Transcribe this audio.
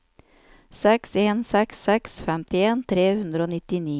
seks en seks seks femtien tre hundre og nittini